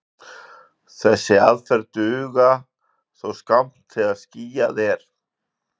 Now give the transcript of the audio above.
Þessar aðferðir duga þó skammt þegar skýjað er.